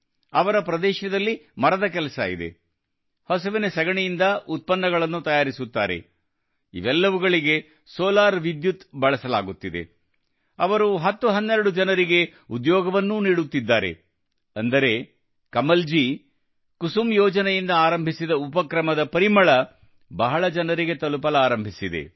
ಅವರ ಪ್ರದೇಶದಲ್ಲಿ ಮರದ ಕೆಲಸ ಇದೆ ಹಸುವಿನ ಸಗಣಿಯಿಂದ ಉತ್ಪನ್ನಗಳನ್ನು ತಯಾರಿಸಲಾಗುತ್ತಿದೆ ಇವೆಲ್ಲವುಗಳಿಗೆ ಸೋಲಾರ್ ವಿದ್ಯುತ್ ಬಳಸಲಾಗುತ್ತಿದೆ ಅವರು 1012 ಜನರಿಗೆ ಉದ್ಯೋಗವನ್ನೂ ನೀಡುತ್ತಿದ್ದಾರೆ ಅಂದರೆ ಕಮಲ್ ಕುಸುಮ್ ಯೋಜನೆಯಿಂದ ಆರಂಭಿಸಿದ ಉಪಕ್ರಮದ ಪರಿಮಳವು ಬಹಳ ಜನರಿಗೆ ತಲುಪಲಾರಂಭಿಸಿದೆ